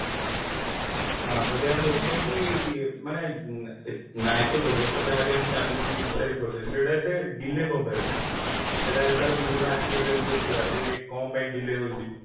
ହଁ ଯଦି ଆମେ ଦେଖିବା କି ମାନେ ନ୍ୟାୟିକ ବ୍ୟବସ୍ଥା ଯାହା ବ୍ବି ଆମ ଚାଲିଛି judiciary process ସେଇଟା ଏତେ delay କଣ ପାଇଁ ହଉଛି ସେଇଟା ଯଦି ତାର ବିଭିନ୍ନ aspect ଯଦି ଦେଖିବା ଯେ କଣ ପାଇଁ delay ହଉଛି